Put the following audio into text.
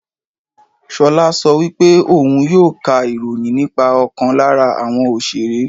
Ṣolá sọ pé òun yóò ká ìròyìn nípa ọkàn lára àwọn Òṣeré.